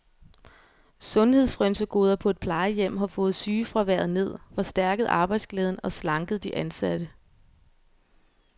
Sundhedsfrynsegoder på et plejehjem har fået sygefraværet ned, forstærket arbejdsglæden og slanket de ansatte.